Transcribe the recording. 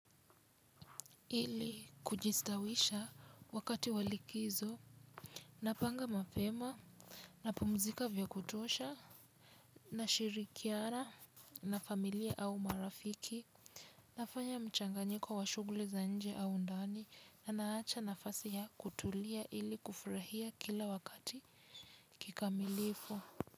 Ili kujistawisha wakati wa likizo napanga mapema napumzika vya kutosha na shirikiara na familia au marafiki nafanya mchanganyiko wa shugli za nje au ndani na naacha nafasi ya kutulia ili kufurahia kila wakati kikamilifu.